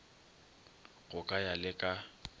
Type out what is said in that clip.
go ka ya le ka